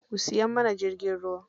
Ku siya mana jirgin ruwa.